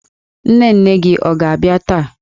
Nne nne gị ọ ga-abịa taa?